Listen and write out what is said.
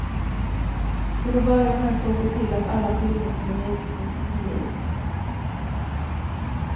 Till att börja med såg de till att alla filmer kunde visas inför publik.